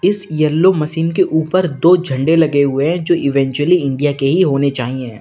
इस yellow machine के ऊपर दो झंडे लगे हुए हैं जो एक्चुअली इंडिया के ही होने चाहिए।